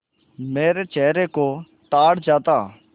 मेरे चेहरे से ताड़ जाता